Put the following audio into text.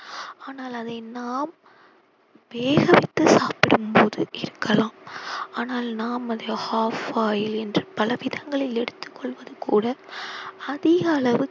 ஆனால் அதை நாம் வேகவைத்து சாப்பிடும் போது இருக்கலாம் ஆனால் நாம் அதை half boil என்று பல விதங்களில் எடுத்துக் கொள்வது கூட அதிக அளவு